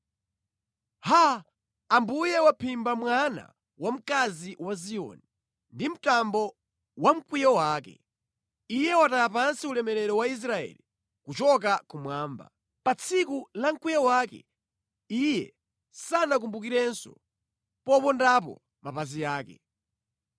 Haa, Ambuye waphimba mwana wamkazi wa Ziyoni ndi mtambo wa mkwiyo wake! Iye wataya pansi ulemerero wa Israeli kuchoka kumwamba. Pa tsiku la mkwiyo wake Iye sanakumbukirenso popondapo mapazi ake.